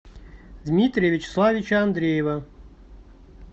дмитрия вячеславовича андреева